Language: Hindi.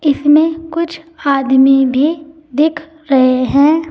इसमें कुछ आदमी भी दिख रहे हैं।